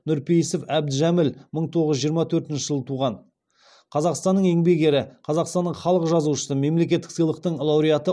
нұрпейісов әбдіжәміл мың тоғыз жүз жиырма төртінші жылы туған қазақстанның еңбек ері қазақстанның халық жазушысы мемлекеттік сыйлықтың лауреаты